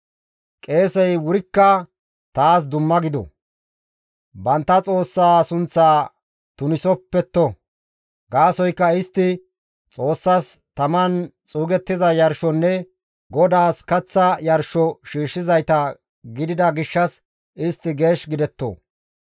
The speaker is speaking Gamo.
Qeesey wurikka taas dumma gido; bantta Xoossaa sunththaa tunisopetto; gaasoykka istti Xoossas taman xuugettiza yarshonne GODAAS kaththa yarsho shiishshizayta gidida gishshas istti geesh gidetto.